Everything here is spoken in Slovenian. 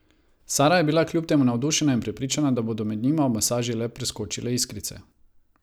Sara je bila kljub temu navdušena in prepričana, da bodo med njima ob masaži le preskočile iskrice ...